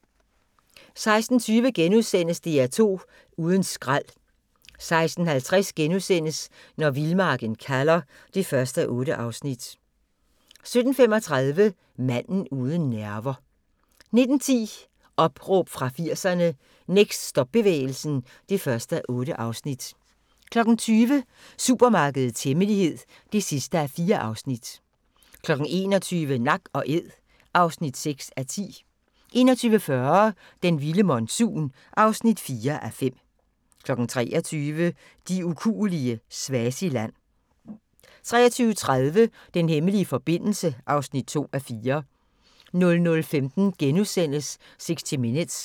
16:20: DR2 uden skrald * 16:50: Når vildmarken kalder (1:8)* 17:35: Manden uden nerver 19:10: Opråb fra 80'erne - Next stop-bevægelsen (1:8) 20:00: Supermarkedets hemmelighed (4:4) 21:00: Nak & æd (6:10) 21:40: Den vilde monsun (4:5) 23:00: De ukuelige – Swaziland 23:30: Den hemmelige forbindelse (2:4) 00:15: 60 Minutes *